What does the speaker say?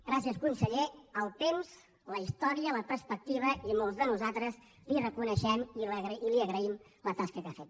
gràcies conseller el temps la història la perspectiva i molts de nosaltres li reconeixem i li agraïm la tasca que ha fet